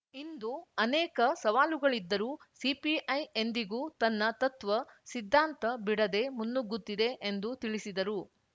ಇಂದು ಅನೇಕ ಸವಾಲುಗಳಿದ್ದರೂ ಸಿಪಿಐ ಎಂದಿಗೂ ತನ್ನ ತತ್ವ ಸಿದ್ದಾಂತ ಬಿಡದೇ ಮುನ್ನುಗ್ಗುತ್ತಿದೆ ಎಂದು ತಿಳಿಸಿದರು